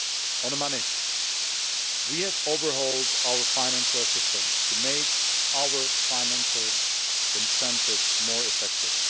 On money, we have overhauled our financial assistance to make our financial incentives more effective.